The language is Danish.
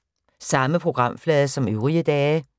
Samme programflade som øvrige dage